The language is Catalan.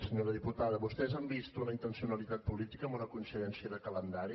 senyora diputada vostès han vist una intencionalitat política en una coincidència de calendari